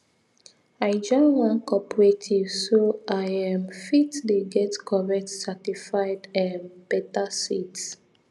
i join one cooperative so i um fit dey get correct certified um better seeds